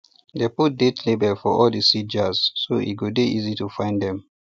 dey put date label for all di seed jars so e go easy to find dem